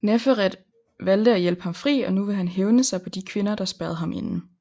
Neferet valgte at hjælpe ham fri og nu vil han hævne sig på de kvinder der spærrede ham inde